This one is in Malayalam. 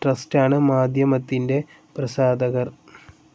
ട്രസ്റ്റാണ് മാധ്യമത്തിന്റെ പ്രസാധകർ.